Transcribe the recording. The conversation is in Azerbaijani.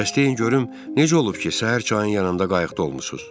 Bəs deyin görüm necə olub ki, səhər çayın yanında qayıqda olmusunuz?